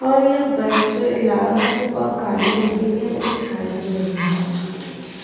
और यह बाइक जो है लाल रंग और काले रंग की भी हमें दिखाई दे रही है।